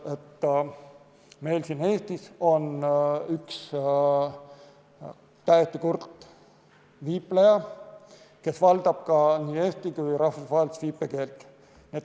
Sest meil siin Eestis on üks täiesti kurt viipleja, kes valdab nii eesti kui ka rahvusvahelist viipekeelt.